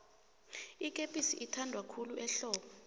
ikepisi ithanwa khulu ehlobo